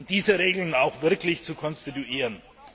diese Regeln auch wirklich zu konstituieren.